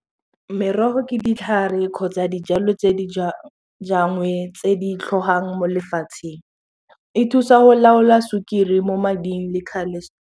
Merogo ke ditlhare kgotsa dijalo tse di tse di tlhogang mo lefatsheng e thusa go laola sukiri mo mading le .